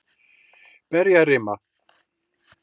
Berjarima